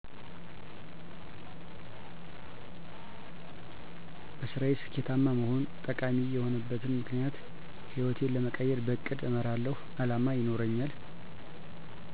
-በስራየ ስኬታማ መሆን - ጠቃሚ የሆነበት ምክኒያት ህይወቴን ለመቀየር -በእቅድ እመራለሁ አላማ ይኖረኛል